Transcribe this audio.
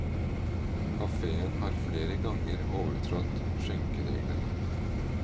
Kaféen har flere ganger overtrådt skjenkereglene.